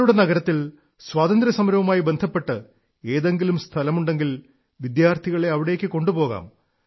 നിങ്ങളുടെ നഗരത്തിൽ സ്വാതന്ത്ര്യസമരവുമായി ബന്ധപ്പെട്ട് ഏതെങ്കിലും സ്ഥലമുണ്ടെങ്കിൽ വിദ്യാർഥികളെ അവിടേക്കു കൊണ്ടുപോകാം